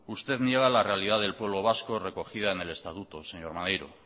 usted niega la realidad del pueblo vasco recogida en el estatuto señor maneiro